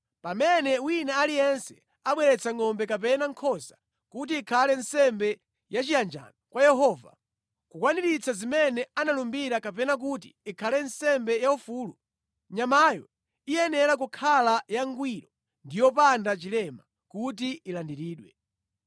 Pamene wina aliyense abweretsa ngʼombe kapena nkhosa kuti ikhale nsembe yachiyanjano kwa Yehova, kukwaniritsa zimene analumbira kapena kuti ikhale nsembe yaufulu, nyamayo iyenera kukhala yangwiro ndi yopanda chilema kuti ilandiridwe.